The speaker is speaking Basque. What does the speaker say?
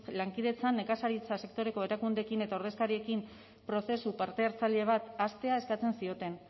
lankidetzan nekazaritza sektoreko erakundeekin eta ordezkariekin prozesu parte hartzaile bat hastea eskatzen zioten